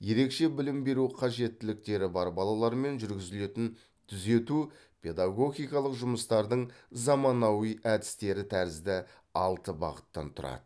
ерекше білім беру қажеттіліктері бар балалармен жүргізілетін түзету педагогикалық жұмыстардың заманауи әдістері тәрізді алты бағыттан тұрады